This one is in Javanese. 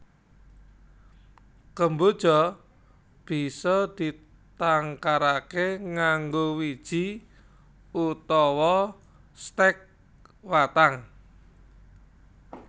Kemboja bisa ditangkaraké nganggo wiji utawa stèk watang